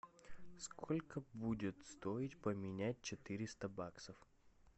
сколько будет стоить поменять четыреста баксов